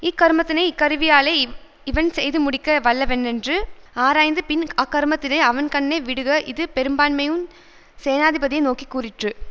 இக்கருமத்தினை இக்கருவியாலே இவன் செய்து முடிக்க வல்லவனென்று ஆராய்ந்து பின் அக்கருமத்தினை அவன்கண்ணே விடுக இது பெரும்பான்மையுஞ் சேனாதிபதியை நோக்கி கூறிற்று